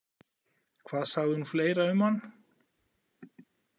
Hvað sagði hún fleira um hann?